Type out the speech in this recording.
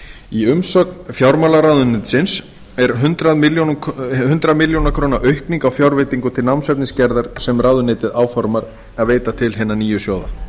í umsögn fjármálaráðuneytisins er hundrað milljónir króna aukning á fjárveitingu til námsefnisgerðar sem ráðuneytið áformar að veita til hinna nýju sjóða